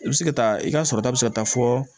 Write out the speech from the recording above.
I bɛ se ka taa i ka sɔrɔta bɛ se ka taa fɔ